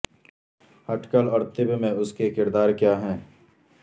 ہٹھ کل اور طب میں اس کے کردار کیا ہے